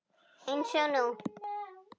Eins og nú.